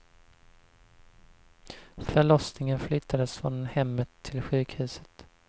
Förlossningen flyttades från hemmet till sjukhuset.